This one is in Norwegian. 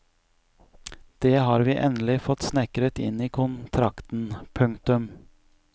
Det har vi endelig fått snekret inn i kontrakten. punktum